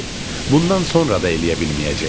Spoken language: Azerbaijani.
Bundan sonra da eləyə bilməyəcək.